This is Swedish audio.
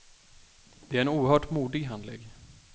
Det är en oerhört modig handling.